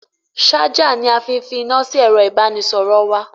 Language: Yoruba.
Ṣájà ni a fi fi iná sí ẹ̀ro ìbánisọ̀rọ̀ wa.